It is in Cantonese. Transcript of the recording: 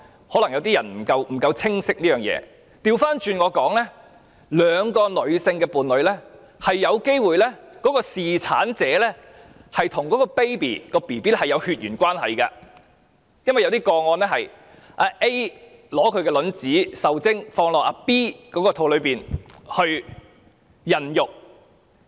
可能有些人對這件事不太清晰，我倒過來說，在兩名女性伴侶中的侍產者，是有機會與嬰兒有血緣關係，因為在某些個案中，是會以 A 的卵子受精後，再放到 B 的子宮中孕育。